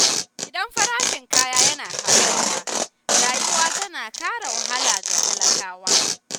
Idan farashin kaya yana hauhawa, rayuwa tana ƙara wahala ga talakawa.